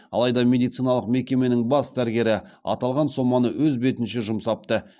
алайда медициналық мекеменің бас дәрігері аталған соманы өз бетінше жұмсапты